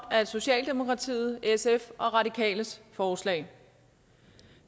socialdemokratiet sf og radikales forslag